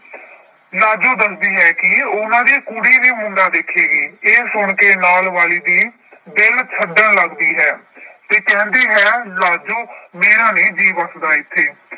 ਲਾਜੋ ਦੱਸਦੀ ਹੈ ਕਿ ਉਹਨਾਂ ਦੀ ਕੁੜੀ ਵੀ ਮੁੰਡਾ ਦੇਖੇਗੀ ਇਹ ਸੁਣ ਕੇ ਨਾਲ ਵਾਲੀ ਦੀ ਦਿਲ ਛੱਡਣ ਲੱਗਦੀ ਹੈ ਤੇ ਕਹਿੰਦੀ ਹੈ ਲਾਜੋ ਮੇਰਾ ਨੀ ਜੀਅ ਵਸਦਾ ਇੱਥੇ।